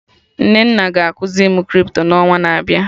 Nnenna ga ekuzi mụ Crypto n'ọnwa na-abịa